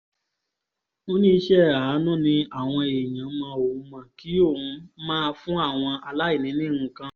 ó ní iṣẹ́ àánú ni àwọn èèyàn mọ òun mọ́ kí òun máa fún àwọn aláìní ní nǹkan